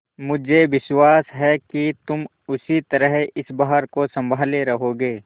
मुझे विश्वास है कि तुम उसी तरह इस भार को सँभाले रहोगे